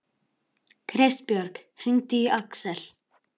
Kristbjörg, hringdu í Aksel.